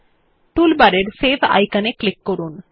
টুলবারের সেভ আইকনে ক্লিক করুন